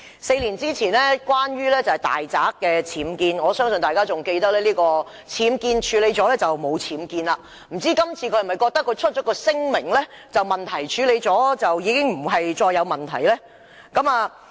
四年前，是因為其大宅的僭建，我相信大家仍記得，他覺得處理僭建後便沒有僭建，不知道今次他是否亦覺得發出聲明，問題處理後已不再是問題？